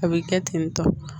A bɛ kɛ ten tɔ